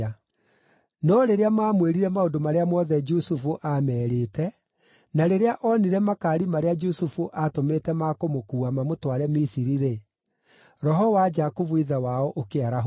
No rĩrĩa maamwĩrire maũndũ marĩa mothe Jusufu aamerĩte, na rĩrĩa onire makaari marĩa Jusufu aatũmĩte ma kũmũkuua mamũtware Misiri-rĩ, roho wa Jakubu ithe wao ũkĩarahũka.